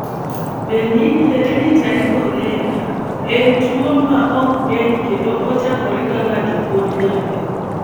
Benign hereditary chorea (BHC) en tuo m ok nge'ny kendo ochakre ka ng'ato pod nyathi.